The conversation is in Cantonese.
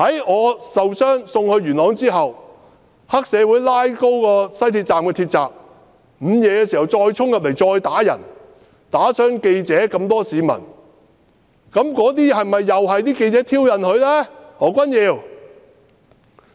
我受傷被送離元朗後，黑社會在午夜時分拉起元朗站鐵閘，衝入站內打人，打傷記者和市民，何君堯議員，那些是否又是因為記者挑釁呢？